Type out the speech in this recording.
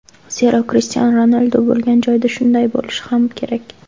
Zero, Krishtianu Ronaldu bo‘lgan joyda shunday bo‘lishi ham kerak.